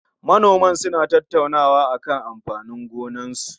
Manoman suna tattaunawa akan amfanin gonakinsu